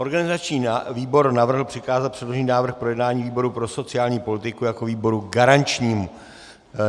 Organizační výbor navrhl přikázat předložený návrh k projednání výboru pro sociální politiku jako výboru garančnímu.